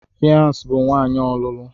Fiancee bụ nwanyị ọlụlụ.